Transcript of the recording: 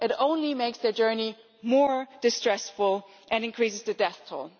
it only makes their journey more distressful and increases the death toll.